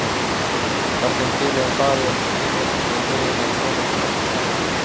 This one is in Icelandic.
Var þeim félögum báðum mjög í mun að komast burt frá